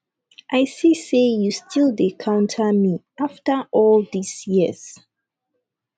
i see say you still dey counter me after all dis years